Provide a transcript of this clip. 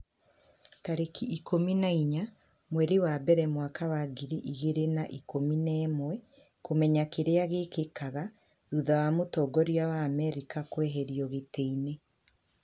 tarĩki ikũmi na inya mweri wa mbere mwaka wa ngiri igĩrĩ na ikũmi na ĩmweKũmenya kĩrĩa gĩkĩkaga thutha wa mũtongoria wa Amerika kũeherio gĩtĩ-inĩ